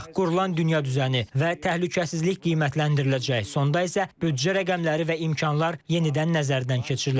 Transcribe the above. Qurulan dünya düzəni və təhlükəsizlik qiymətləndiriləcək, sonda isə büdcə rəqəmləri və imkanlar yenidən nəzərdən keçiriləcək.